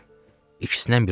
İkisindən biri olacaq.